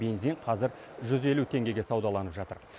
бензин қазір жүз елу теңгеге саудаланып жатыр